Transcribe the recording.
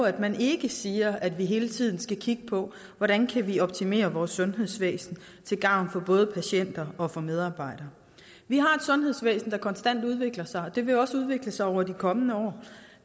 at man ikke siger at vi hele tiden skal kigge på hvordan vi kan optimere vores sundhedsvæsen til gavn for både patienter og og medarbejdere vi har et sundhedsvæsen der konstant udvikler sig og det vil også udvikle sig over de kommende år